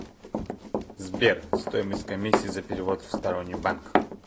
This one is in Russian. сбер стоимость комиссии за перевод в сторонний банк